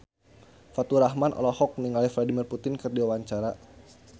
Faturrahman olohok ningali Vladimir Putin keur diwawancara